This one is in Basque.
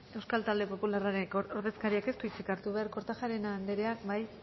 euskal talde popularraren ordezkariak ez du hitzik hartu behar kortajarena anderea